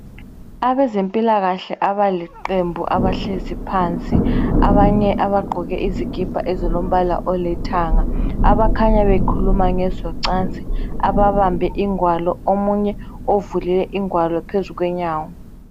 Abezempilakahle abaliqembu elihlezi phansi abanye abagqoke izikipa ezilombala olithanga abakhanya bekhuluma ngezocansi ababambe igwalo omunye uvule igwalo phezu konyawo